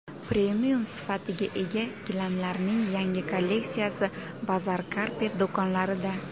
Premium sifatga ega gilamlarning yangi kolleksiyasi Bazaar Carpet do‘konlarida!.